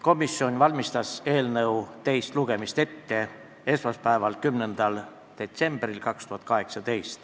Komisjon valmistas eelnõu teist lugemist ette esmaspäeval, 10. detsembril 2018.